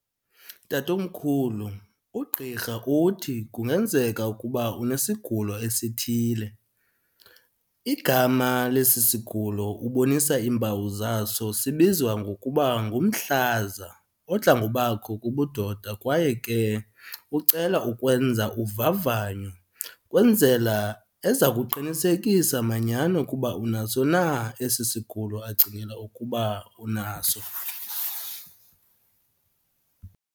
Tatomkhulu, ugqirha uthi kungenzeka ukuba unesigulo esithile. Igama lesi sigulo ubonisa iimpawu zaso sibizwa ngokuba ngumhlaza odla ngobakho kubudoda. Kwaye ke ucela ukwenza uvavanyo, kwenzela eza kuqinisekisa manyhani ukuba unaso na esi sigulo acingela ukuba unaso.